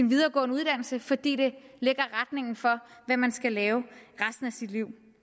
videregående uddannelse fordi det lægger retningen for hvad man skal lave resten af sit liv